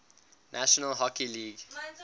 national hockey league